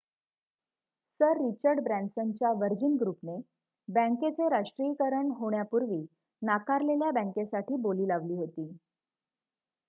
sir Richard ब्रॅन्सनच्या Virgin ग्रुपने बँकेचे राष्ट्रीयकरण होण्यापूर्वी नाकारलेल्या बँकेसाठी बोली लावली होती